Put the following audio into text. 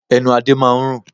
Ẹnu Adé máa ń rùn.